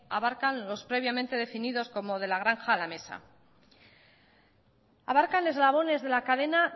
abarcan los previamente definidos como de la granja a la mesa abarcan eslabones de la cadena